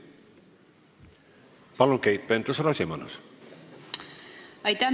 Palun, Keit Pentus-Rosimannus!